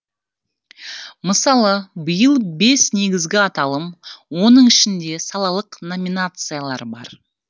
мысалы биыл бес негізгі аталым оның ішінде салалық номинациялар бар